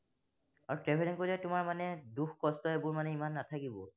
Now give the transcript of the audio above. আৰু traveling কৰিলে তোমাৰ মানে দুখ কষ্ট এইবোৰ মানে ইমান নাথাকিব।